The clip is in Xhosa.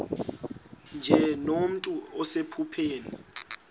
nje nomntu osephupheni